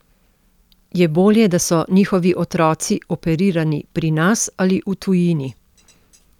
Je bolje, da so njihovi otroci operirani pri nas ali v tujini?